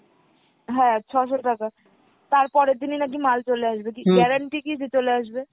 হ্যাঁ, ছ'শো টাকা তারপরের দিনই নাকি মাল চলে আসবে, guarantee কী যে চলে আসবে?